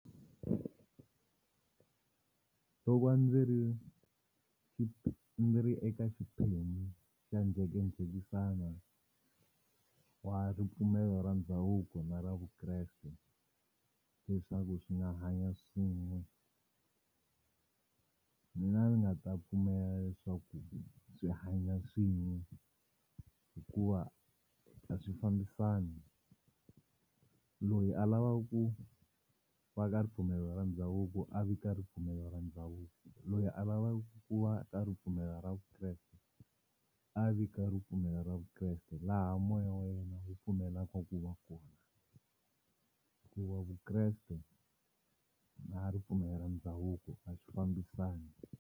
Ku va ndzi ri ndzi ri eka xiphemu xa njhekanjhekisano wa ripfumelo ra ndhavuko na ra Vukreste leswaku swi nga hanya swin'we mina a ni nga ta pfumela leswaku swi hanya swin'we hikuva a swi fambisani loyi a lavaka ku va ka ripfumelo ra ndhavuko a vi ka ripfumelo ra ndhavuko loyi a va va ku va ka ripfumelo ra Vukreste a vi ka ripfumelo ra Vukreste laha moya wa yena wu pfumelaka ku va kona hikuva Vukreste na ripfumelo ra ndhavuko a swi fambisani.